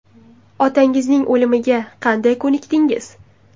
Otangizning o‘limiga qanday ko‘nikdingiz?